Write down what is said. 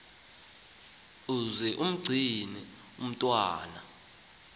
uze umgcine umntwaka